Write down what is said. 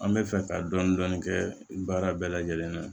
An bɛ fɛ ka dɔnni kɛ baara bɛɛ lajɛlen na